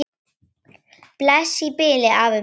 Bless í bili, afi minn.